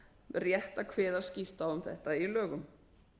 rétt að kveða skýrt á um þetta í lögum